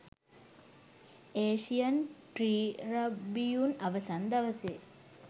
Asian Tribune අවසන් දවසේ